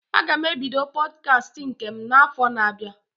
Aga m ebido Pọdkast nke m na afọ na abịa